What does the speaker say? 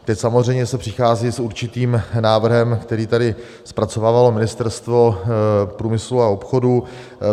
Teď samozřejmě se přichází s určitým návrhem, který tady zpracovávalo Ministerstvo průmyslu a obchodu.